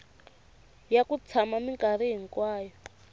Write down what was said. ya ku tshama minkarhi hinkwayo